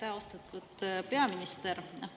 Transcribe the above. Aitäh, austatud peaminister!